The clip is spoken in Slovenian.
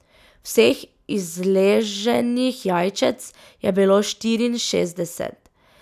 Vseh izleženih jajčec je bilo štiriinšestdeset.